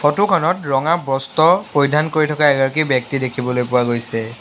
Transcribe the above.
ফটোখনত ৰঙা বস্ত্ৰ পৰিধান কৰি থকা এগৰাকী ব্যক্তি দেখিবলৈ পোৱা গৈছে।